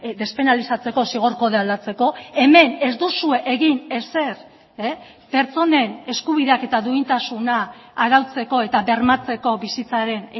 despenalizatzeko zigor kodea aldatzeko hemen ez duzue egin ezer pertsonen eskubideak eta duintasuna arautzeko eta bermatzeko bizitzaren